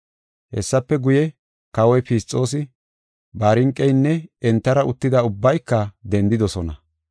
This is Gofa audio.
Hessafe guye, Kawoy Fisxoosi, Barniqeynne entara uttida ubbayka dendidosona.